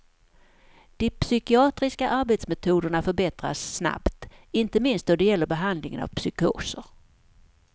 De psykiatriska arbetsmetoderna förbättras snabbt, inte minst då det gäller behandlingen av psykoser.